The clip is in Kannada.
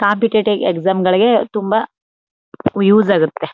ಕಾಂಪಿಟಿಟಿವ್ ಎಸ್ಝಮ್ ಗಳಿಗೆ ತುಂಬಾ ಯೌಜ್ ಆಗುತ್ತೆ.